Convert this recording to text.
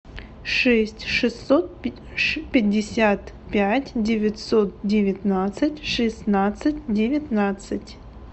шесть шестьсот пятьдесят пять девятьсот девятнадцать шестнадцать девятнадцать